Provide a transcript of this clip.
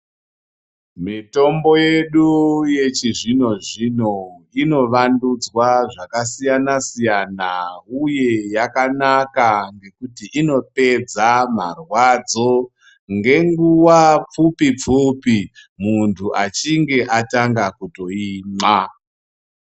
Mitombo yedu yechizvino-zvino inovandudzwa zvakasiyana-siyana uye yakanaka ngekuti inopedza marwadzo ngenguwa pfupi-pfupi muntu achinge atanga kutoimwa.